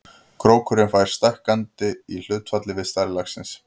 Krókurinn fer stækkandi í hlutfalli við stærð laxins.